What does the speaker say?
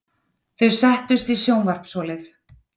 Þau settust í sjónvarpsholið.